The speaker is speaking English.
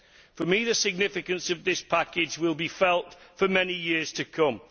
For me, the significance of this package will be felt for many years to come.